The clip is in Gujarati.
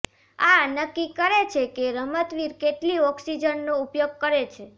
આ નક્કી કરે છે કે રમતવીર કેટલી ઓક્સિજનનો ઉપયોગ કરે છે